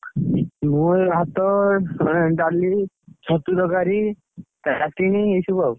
ମୁଁଁ ଏଇ ଭାତ, ଡାଲି, ଛତୁ ତରକାରୀ, ଏଇ ସବୁ ଆଉ।